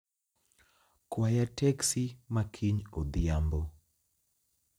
Kwaya teksi ma kiny odhiambo